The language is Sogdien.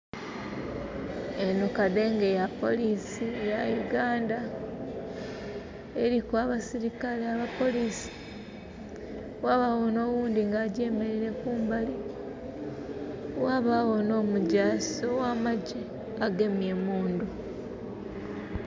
Enho kadhenge ya polisi ya Uganda eriku abasirikale aba polisi. Ghabagho nhoghundhi nga agyemereile kumbali, ghabaagho nhomugyasi ogha magye agemye emundhu.